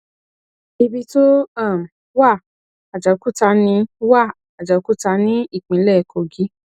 ibi tó um wà àjàòkúta ní wà àjàòkúta ní ìpínlẹ kogí